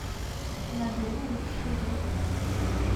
набери лучшие друзья